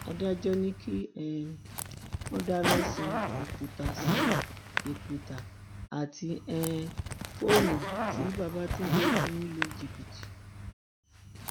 adájọ ni kí um wọn dáná sun ìpútà sun ìpútà àti um fóònù tí babatúndé fi ń lu jìbìtì